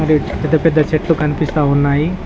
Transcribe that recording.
ఈ పెద్ద పెద్ద చెట్లు కనిపిస్తా ఉన్నాయి.